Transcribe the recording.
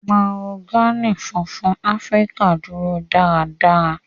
Mahogany funfun Afirika duro daradara.